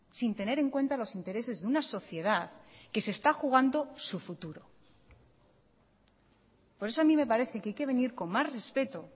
sin tener en cuenta los intereses de una sociedad que se está jugando su futuro por eso a mí me parece que hay que venir con más respeto